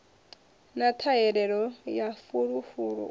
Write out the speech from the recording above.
na ṱhahelelo ya fulufulu u